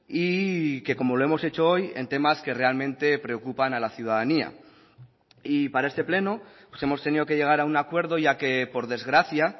y que como lo hemos hecho hoy en temas que realmente preocupan a la ciudadanía y para este pleno hemos tenido que llegar a un acuerdo ya que por desgracia